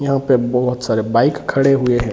यहां पे बहुत सारे बाइक खड़े हुए हैं।